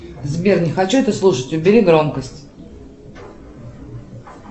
сбер не хочу это слушать убери громкость